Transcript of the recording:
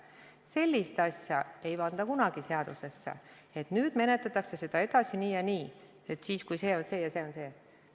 Sellist asja ei panda kunagi seadusesse, et nüüd menetletakse seda edasi nii ja nii, siis, kui see on see ja see on see.